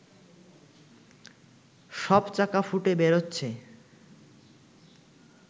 সব চাকা ফুটে বেরোচ্ছে